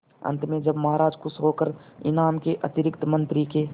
अंत में जब महाराज खुश होकर इनाम के अतिरिक्त मंत्री के